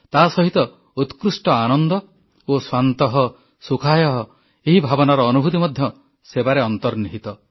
ତାସହିତ ଉତ୍କୃଷ୍ଟ ଆନନ୍ଦ ଓ ସ୍ୱାନ୍ତଃ ସୁଖାୟ ଏହି ଭାବନାର ଅନୁଭୂତି ମଧ୍ୟ ସେବାରେ ଅନ୍ତର୍ନିହିତ